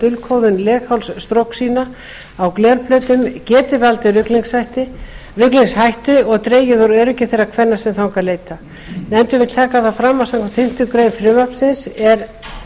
dulkóðun leghálsstrokusýna á glerplötum geti valdið ruglingshættu og dregið úr öryggi þeirra kvenna sem þangað leita nefndin vill taka fram að samkvæmt fimmtu grein frumvarpsins er